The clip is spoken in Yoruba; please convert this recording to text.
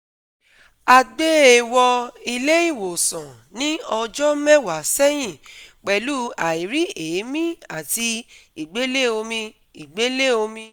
A gbé e wọ ilé ìwòsàn ní ọjọ́ mẹ́wàá sẹ́yìn pẹ̀lú airi eemi àti ìgbélé omi ìgbélé omi